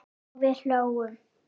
Og við hlógum.